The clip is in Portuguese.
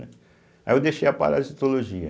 Aí eu deixei a parasitologia.